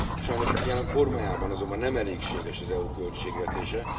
Sajnos jelen formájában azonban nem elégséges az EU költségvetése.